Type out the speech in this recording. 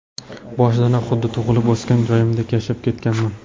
Boshidanoq xuddi tug‘ilib o‘sgan joyimdek yashab ketganman.